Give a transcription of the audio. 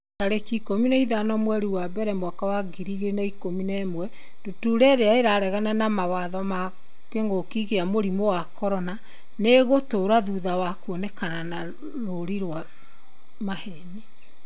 tarĩki ikũmi na ithano mweri wa mbere mwaka wa ngiri igĩrĩ na ikũmi na ĩmwe Ndutura irĩa 'ĩraregana na mawatho ma kĩngũki kia mũrimũ wa CORONA nĩ ĩgũtũra thutha wa kuonekana na rũũri rwa maheeni.